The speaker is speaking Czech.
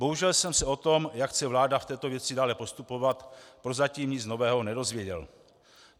Bohužel jsem se o tom, jak chce vláda v této věci dále postupovat, prozatím nic nového nedozvěděl.